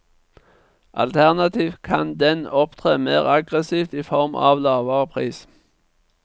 Alternativt kan den opptre mer aggressivt i form av lavere pris.